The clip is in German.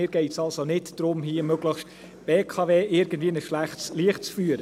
Mir geht es also nicht darum, hier die BKW möglichst irgendwie in ein schlechtes Licht zu führen.